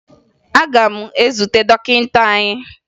Aga m ezute dọkịta anyị